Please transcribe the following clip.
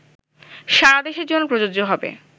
সারাদেশের জন্য প্রযোজ্য হবে